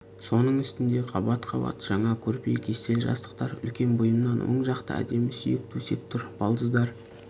соның үстінде қабат-қабат жаңа көрпе кестелі жастықтар үлкен бұйымынан оң жақта әдемі сүйек төсек тұр балдыздар